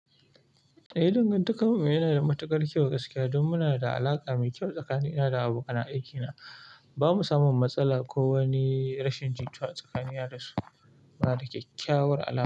Eh, dangantakarmu yana da matukar kyau gaskiya. Don munada alaƙa mai kyau tsakanina da abokanan aikina. Ba mu samu matsala ko wani rashin jituwa tsakani na da su, muna da kyakkyawar alaƙa.